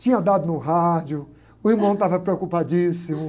tinha dado no rádio, o irmão estava preocupadíssimo.